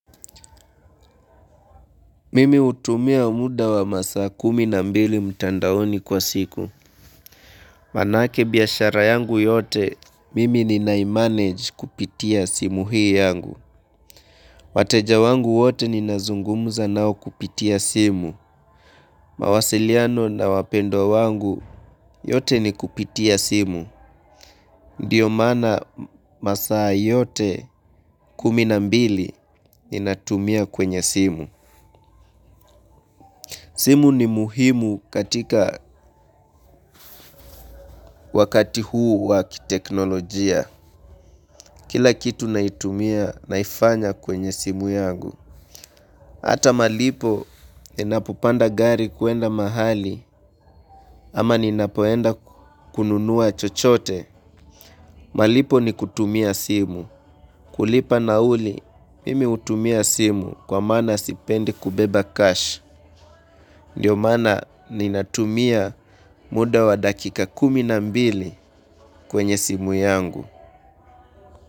Mimi hutumia muda wa masaa kumi na mbili mtandaoni kwa siku. Manake biashara yangu yote, mimi ninaimanage kupitia simu hii yangu. Wateja wangu wote ninazungumza nao kupitia simu. Mawasiliano na wapendwa wangu yote ni kupitia simu. Ndiyo maana masaa yote kumi na mbili ninatumia kwenye simu. Simu ni muhimu katika wakati huu wa kiteknolojia. Kila kitu naitumia naifanya kwenye simu yangu. Hata malipo ninapopanda gari kuenda mahali ama ninapoenda kununua chochote. Malipo ni kutumia simu. Kulipa nauli, mimi hutumia simu kwa maana sipendi kubeba cash. Ndiyo maana ninatumia muda wa dakika kumi na mbili kwenye simu yangu.